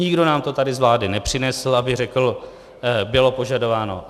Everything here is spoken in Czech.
Nikdo nám to tady z vlády nepřinesl, aby řekl "bylo požadováno".